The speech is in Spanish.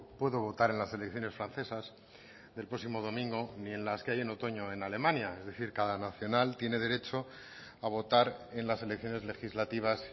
puedo votar en las elecciones francesas del próximo domingo ni en las que hay en otoño en alemania es decir cada nacional tiene derecho a votar en las elecciones legislativas